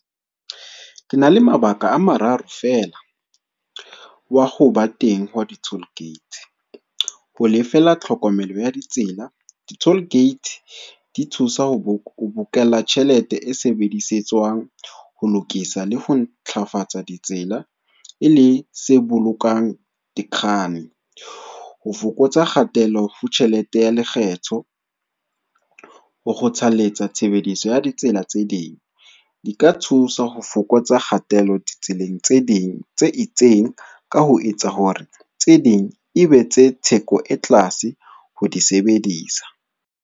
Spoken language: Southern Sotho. Ke na le mabaka a mararo fela, wa ho ba teng hwa di-toll gate. Ho lefela tlhokomelo ya ditsela, di-toll gate di thusa ho bokella tjhelete e sebedisetswang ho lokisa le ho ntlafatsa ditsela e le se bolokang . Ho fokotsa kgatello ho tjhelete ya lekgetho, ho kgothalletsa tshebediso ya ditsela tse ding di ka thusa ho fokotsa kgatello ditseleng tse ding tse itseng, ka ho etsa hore tse ding e be tse theko e tlase ho di sebedisa.